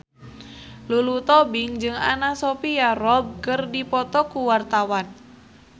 Lulu Tobing jeung Anna Sophia Robb keur dipoto ku wartawan